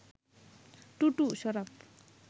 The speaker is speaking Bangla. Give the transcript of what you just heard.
টুটু, শরাফ